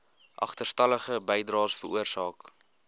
agterstallige bydraes veroorsaak